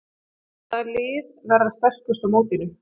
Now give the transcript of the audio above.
Hvaða lið verða sterkust á mótinu?